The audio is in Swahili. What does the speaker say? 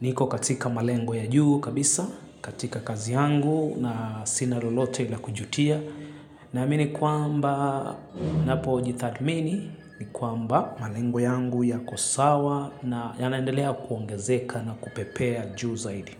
niko katika malengo ya juu kabisa katika kazi yangu na sina lolote la kujutia naamini kwamba ninapo jitathmini ni kwamba malengo yangu yako sawa na yanaendelea kuongezeka na kupepea juu zaidi.